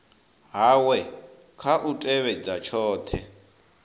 hawe kha u tevhedza tshothe